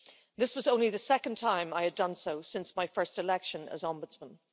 This was only the second time I had done so since my first election as Ombudsman.